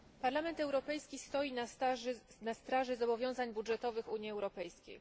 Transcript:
Parlament Europejski stoi na straży zobowiązań budżetowych Unii Europejskiej.